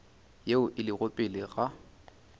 yeo e lego pele ga